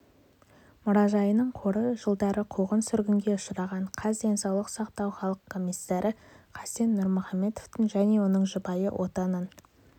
мұражайының қоры жылдары қуғын-сүргінге ұшыраған қаз денсаулық сақтау халық комиссары хасен нұрмұхамедовтың және оның жұбайы отанын